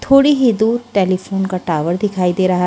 थोड़ी ही दूर टेलीफ़ोन का टावर दिखाई दे रहा --